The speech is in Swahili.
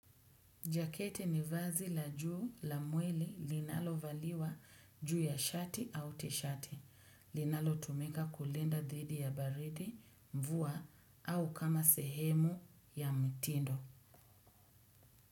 Jaketi ni vazi la juu la mwili linalo valiwa juu ya shati au tishati. Linalo tumika kulinda dhidi ya baridi, mvua au kama sehemu ya mtindo.